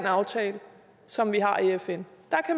aftale som vi har i fn